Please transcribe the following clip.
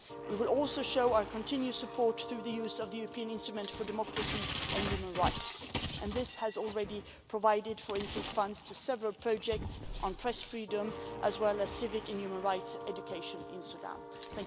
We will also show our continued support through the use of the European Instrument for Democracy and Human Rights and this has already provided funds, for instance, to several projects on press freedom, as well as civic and human rights and education in Sudan.